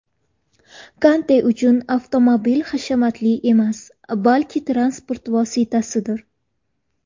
Kante uchun avtomobil hashamatli emas, balki transport vositasidir.